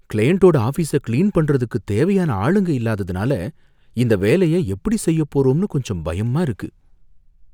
கிளையன்டோட ஆபீஸை கிளீன் பண்றதுக்கு தேவையான ஆளுங்க இல்லாததனால இந்த வேலைய எப்படி செய்யப்போறோம்னு கொஞ்சம் பயமா இருக்கு.